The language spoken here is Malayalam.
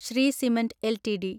Shri cement LTD